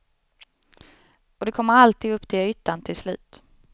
Och det kommer alltid upp till ytan till slut.